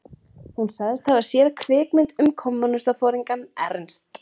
Hún sagðist hafa séð kvikmynd um kommúnistaforingjann Ernst